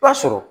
I b'a sɔrɔ